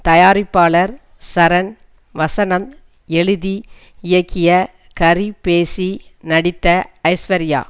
தயாரிப்பாளர் சரண் வசனம் எழுதி இயக்கிய ஹரி பேசி நடித்த ஐஸ்வர்யா